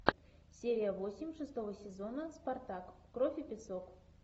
серия восемь шестого сезона спартак кровь и песок